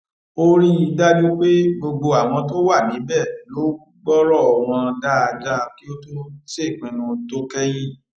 ó rí i dájú pé gbogbo àwọn tó wà níbè ló gbórò wọn dáadáa kí ó tó ṣèpinnu tó kẹyìn